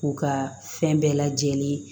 U ka fɛn bɛɛ lajɛlen